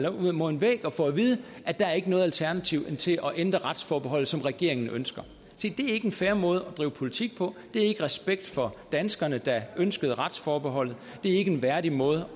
op mod en væg og får at vide at der ikke er noget alternativ til at ændre retsforbeholdet sådan som regeringen ønsker se det er ikke er en fair måde at drive politik på det er ikke respekt for danskerne der ønskede retsforbeholdet det ikke en værdig måde